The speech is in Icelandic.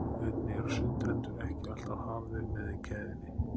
einnig eru sundrendur ekki alltaf hafðir með í keðjunni